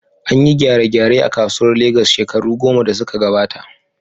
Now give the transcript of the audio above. An yi gyare-gyare a kasuwar Legas shekaru goma da suka gabata.